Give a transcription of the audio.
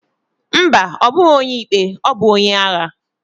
Ḿbà, obughi onye ikpe, obu onye agha.